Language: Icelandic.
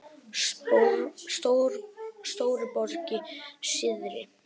Stóruborg syðri